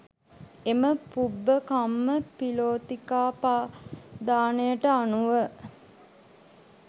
එම පුබ්බකම්ම පිලෝතිකාපදානයට අනුව